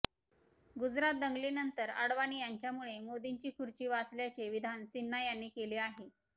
गुजरात दंगलीनंतर अडवाणी यांच्यामुळे मोदींची खुर्ची वाचल्याचे विधान सिन्हा यांनी केले आहे